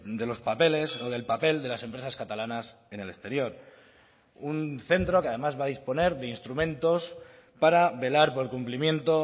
de los papeles o del papel de las empresas catalanas en el exterior un centro que además va a disponer de instrumentos para velar por el cumplimiento